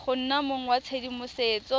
go nna mong wa tshedimosetso